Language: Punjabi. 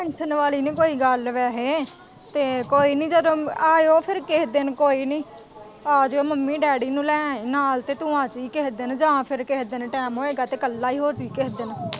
tension ਵਾਲ਼ੀ ਨੀ ਕੋਈ ਗੱਲ ਵੈਸੇ ਤੇ ਕੋਈ ਨੀ ਜਦੋਂ ਆਇਓ ਫੇਰ ਕੇਹੇ ਦਿਨ ਕੋਈ ਨੀ ਆ ਜਾਇਓ ਮੰਮੀ-ਡੈਡੀ ਨੂੰ ਲੈ ਆਈ ਨਾਲ਼ ਤੇ ਤੂੰ ਆਜੀ ਕਿਸੇ ਦਿਨ ਜਾਂ ਫੇਰ ਕੇਹੇ ਦਿਨ ਟੈਮ ਹੋਇਆ ਤੇ ਇੱਕਲਾ ਹੀ ਹੋ ਜੀ ਕੇਹੇ ਦਿਨ।